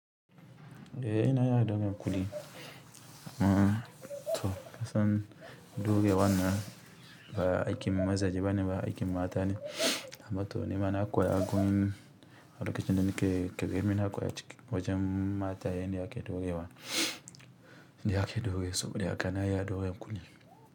Eh na iya ɗaure kuɗi, mato kasan dorewan nan ba aiki mazaje bane ba aikin mata ne. Amma to ni ma na koya gurin a lokacin da nake ƙarami na koya cikin, wajen mataye ne ake ɗaurewa, shne ake ɗaure, saboda haka na iya ɗaure ƙulli.